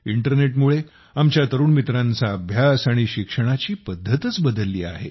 इंटरनेटमुळे आमच्या तरुण मित्रांचा अभ्यास आणि शिक्षणाची पद्धतच बदलली आहे